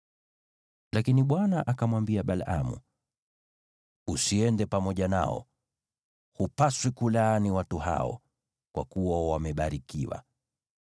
Lakini Bwana akamwambia Balaamu, “Usiende pamoja nao. Hupaswi kulaani watu hao, kwa kuwa wamebarikiwa.”